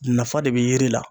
Nafa de be yiri la.